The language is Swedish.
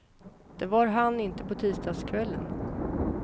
Det var han inte på tisdagskvällen.